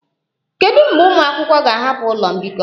Kedu mgbe ụmụ akwụkwọ ga-ahapụ ụlọ mbikọ?